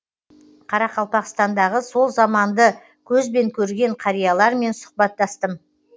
қарақалпақстандағы сол заманды көзбен көрген қариялармен сұхбаттастым